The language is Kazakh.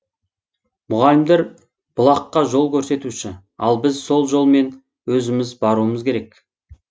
мұғалімдер бұлаққа жол көрсетуші ал біз сол жол мен өзіміз баруымыз керек